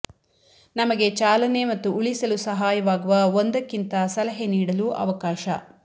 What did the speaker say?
ನಮಗೆ ಚಾಲನೆ ಮತ್ತು ಉಳಿಸಲು ಸಹಾಯವಾಗುವ ಒಂದಕ್ಕಿಂತ ಸಲಹೆ ನೀಡಲು ಅವಕಾಶ